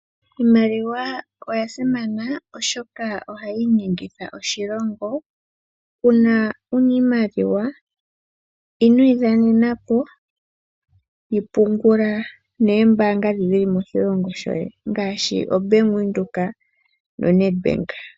Iimaliwa oya simana oshoka ohayi inyengitha oshilongo. Uuna wuna iimaliwa inoyi dhanenapo yi pungula noombaanga ndhi dhili moshilongo shoye ngaashi ombaanga ya Bank Windhoek no Net Bank.